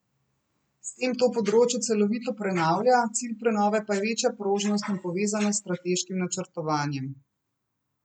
S tem to področje celovito prenavlja, cilj prenove pa je večja prožnost in povezanost s strateškim načrtovanjem.